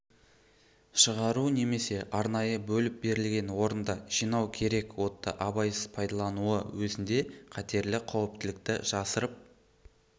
шығару немесе арнайы бөліп берілген орында жинау керек отты абайсыз пайдалануы өзінде қатерлі қауіптілікті жасырып